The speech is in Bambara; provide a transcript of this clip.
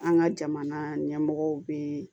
An ka jamana ɲɛmɔgɔ bɛ